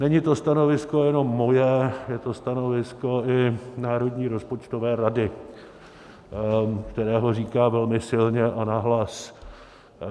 Není to stanovisko jenom moje, je to stanovisko i Národní rozpočtové rady, která ho říká velmi silně a nahlas.